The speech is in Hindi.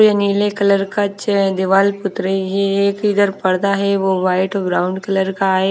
ये नीले कलर का चै दीवाल पुत रही है एक इधर पर्दा है वो वाइट ब्राउन कलर का है।